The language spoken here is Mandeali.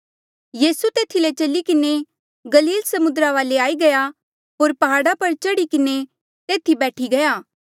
यीसू तेथी ले चली किन्हें गलील समुद्रा वाले आई गया होर प्हाड़ा पर चढ़ी किन्हें तेथी बैठी गया